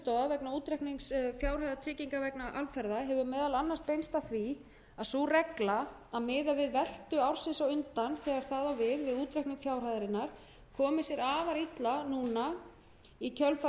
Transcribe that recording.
vegna útreiknings fjárhæðar trygginga vegna alferða hefur meðal annars beinst að því að sú regla að miða við veltu ársins á undan þegar það á við við útreikning fjárhæðarinnar komi sér afar illa núna í kjölfar